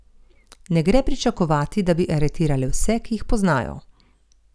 Ne gre pričakovati, da bi aretirale vse, ki jih poznajo.